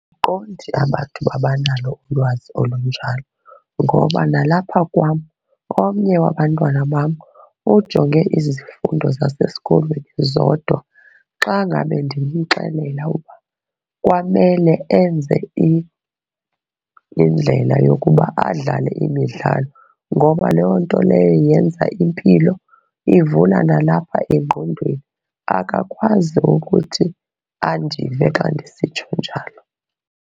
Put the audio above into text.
Andiqondi abantu uba banalo ulwazi olunjalo ngoba nalapha kwam omnye wabantwana bam ujonge izifundo zasesikolweni zodwa. Xa ngabe ndimxelela uba kwamele enze indlela yokuba adlale imidlalo ngoba loo nto leyo yenza impilo, ivula nalapha engqondweni, akakwazi ukuthi andive xa ndisitsho njalo.